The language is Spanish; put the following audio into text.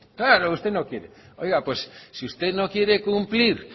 claro usted no quiere oiga pues si usted no quiere cumplir